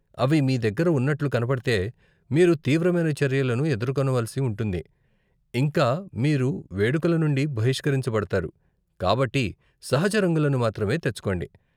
అవి మీ దగ్గర ఉన్నట్టు కనపడితే, మీరు తీవ్రమైన చర్యలను ఎదుర్కొనవలసి ఉంటుంది, ఇంకా మీరు వేడుకలనుండి బహిష్కరించబడతారు, కాబట్టి సహజ రంగులను మాత్రమే తెచ్చుకోండి.